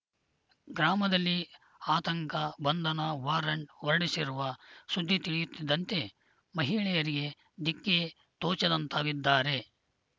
ಗ್ರಾಮದಲ್ಲಿ ಆತಂಕ ಬಂಧನ ವಾರಂಟ್‌ ಹೊರಡಿಸಿರುವ ಸುದ್ದಿ ತಿಳಿಯುತ್ತಿದ್ದಂತೆ ಮಹಿಳೆಯರಿಗೆ ದಿಕ್ಕೇ ತೋಚದಂತಾಗಿದ್ದಾರೆ